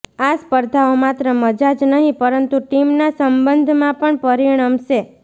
આ સ્પર્ધાઓ માત્ર મજા જ નહીં પરંતુ ટીમના સંબંધમાં પણ પરિણમશે